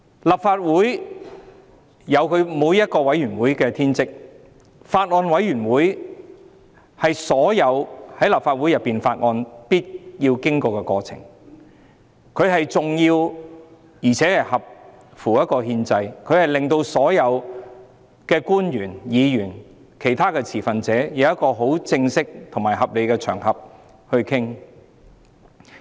立法會每個委員會均有其天職，法案委員會的審議是所有法案必須經過的過程，既重要且合乎憲制，令所有官員、議員及其他持份者能有一個正式及合理的場合進行討論。